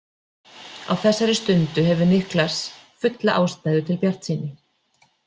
Á þessari stundu hefur Niklas fulla ástæðu til bjartsýni.